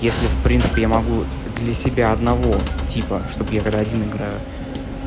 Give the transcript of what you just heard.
если в принципе я могу для себя одного типа чтобы я когда один играю